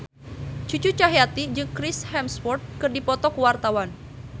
Cucu Cahyati jeung Chris Hemsworth keur dipoto ku wartawan